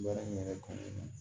Baara in yɛrɛ kɔnɔna